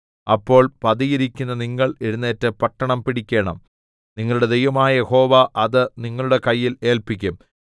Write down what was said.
അപ്പോൾ പതിയിരിയ്ക്കുന്ന നിങ്ങൾ എഴുന്നേറ്റ് പട്ടണം പിടിക്കേണം നിങ്ങളുടെ ദൈവമായ യഹോവ അത് നിങ്ങളുടെ കയ്യിൽ ഏല്പിക്കും